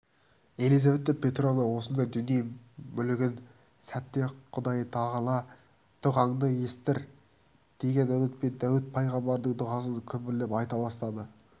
елизавета петровна осындай дүние мүлгіген сәтте құдайтағала дұғаңды есітер деген үмітпен дәуіт пайғамбардың дұғасын күбірлеп айта бастады